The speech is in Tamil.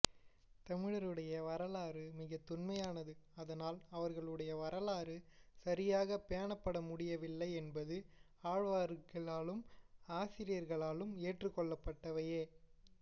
தமிழருடைய வரலாறு மிக தொன்மையானது அதனால் அவர்களுடைய வரலாறு சரியாக பேணப்படமுடியவில்லை என்பது ஆய்வாழர்களாலும் ஆசிரியர்களாலும் ஏற்றுக்கொள்ளப்பட்டவையே